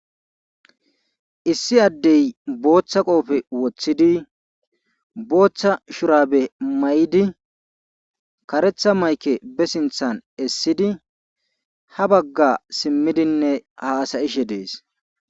Issi adde booththa qoophe wothidi booththa shuraabe maydi karetha maykke be sinththa essidi ha baga simmidine haasa'ishe dees.